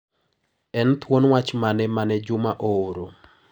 En thuon wach mane mane Juma ooro?